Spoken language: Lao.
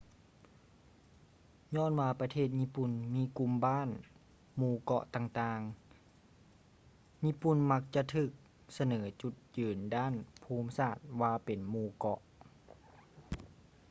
ຍ້ອນວ່າປະເທດຍີ່ປຸ່ນມີກຸ່ມບ້ານ/ໝູ່ເກາະຕ່າງໆ ຍີ່ປຸ່ນມັກຈະຖືກສະເໜີຈຸດຍືນດ້ານພູມສາດວ່າເປັນ ໝູ່ເກາະ